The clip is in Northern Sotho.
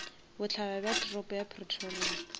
bohlaba bja toropo ya pretoria